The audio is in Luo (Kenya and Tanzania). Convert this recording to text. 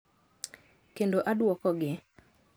kendo adwokogi.